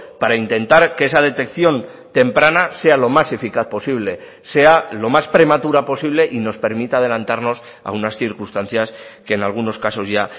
para intentar que esa detección temprana sea lo más eficaz posible sea lo más prematura posible y nos permita adelantarnos a unas circunstancias que en algunos casos ya